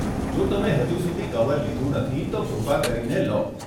જો તમે હજુ સુધી કવર લીધું નથી, તો કૃપા કરીને લો.